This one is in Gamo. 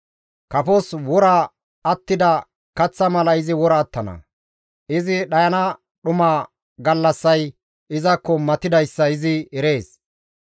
Kafos wora attida kaththa mala izi wora attana; izi dhayana dhuma gallassay izaakko matidayssa izi erees.